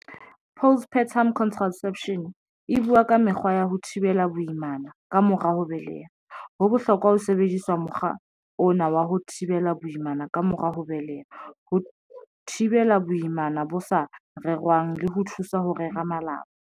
Postpartum contraception e buwa ka mekgwa ya ho thibela boimana ka mora ho beleha, ho bohlokwa ho sebedisa mokgwa ona wa ho thibela boimana ka mora ho beleha, ho thibela boimana bo sa rerwang le ho thusa ho rera malapa.